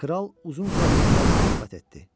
Kral uzun-uzadı onlarla söhbət etdi.